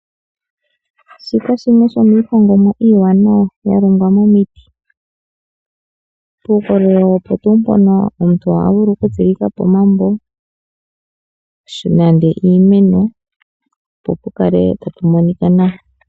oolaka odho dhimwe dhomiihongomwa mbyoka ya longwa miiti, puukololo opo tuu mpoka omuntu ota vulu oku tsilikapo omambo, nenge iimeno po pukale tapu monika nawa.